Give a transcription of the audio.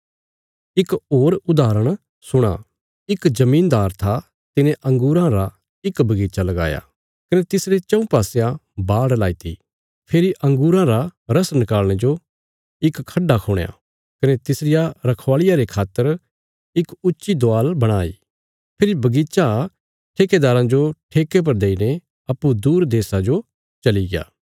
इक होर उदाहरण सुणा इक जमीनदार था तिने अंगूरां रा इक बगीचा लगाया कने तिसरे चऊँ पासयां बाड़ लाईती फेरी अंगूरां रा रस नकाल़णे जो इक खड्डा खुणया कने तिसरिया रखवाल़िया रे खातर इक ऊच्ची दवाल बणाई फेरी बगीचा ठेकेदाराँ जो ठेके पर देईने अप्पूँ दूर प्रदेशा जो चलिग्या